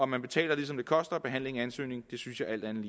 man betaler det som det koster at behandle en ansøgning synes jeg alt andet